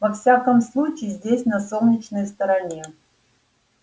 во всяком случае здесь на солнечной стороне